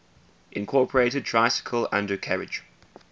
incorporated tricycle undercarriage